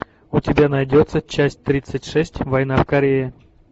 у тебя найдется часть тридцать шесть война в корее